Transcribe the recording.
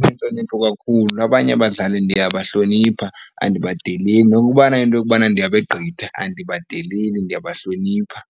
onentlonipho kakhulu, abanye abadlali ndiyabahlonipha, andibadeleli nokubana into yokubana ndiyabegqitha andibadeleli ndiyabahlonipha.